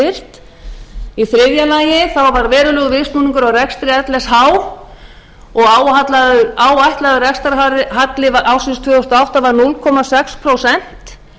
braut og sjúkrahúsið styrkt í fjórða lagi var verulegur viðsnúningur á rekstri lsh og áætlaður rekstrarhalli ársins tvö þúsund og átta var núll komma sex prósent